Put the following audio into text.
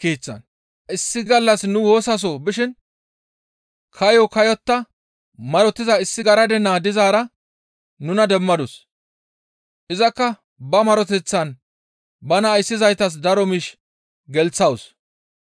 Issi gallas nu woosaso bishin kaayo kayotta marotiza issi garade naa dizaara nuna demmadus; izakka ba maroteththaan bana ayssizaytas daro miish gelththawus.